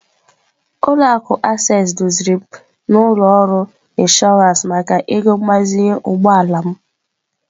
Ụlọ akụ Access duziri m n'ụlọ ọrụ Inshọransị maka ego mgbazinye ụgbọ ala m.